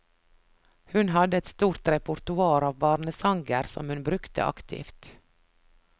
Hun hadde et stort repertoar av barnesanger som hun brukte aktivt.